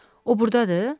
O burdadır?